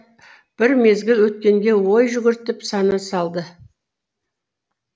бір мезгіл өткенге ой жүгіртіп сана салды